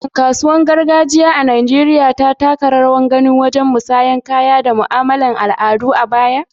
Shin kasuwannin gargajiya a Najeriya sun taka rawar gani wajen musayar kaya da mu'amalar al'adu a baya?